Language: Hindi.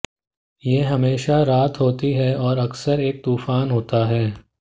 यह हमेशा रात होती है और अक्सर एक तूफान होता है